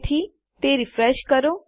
તેથી તે રીફ્રેશ કરો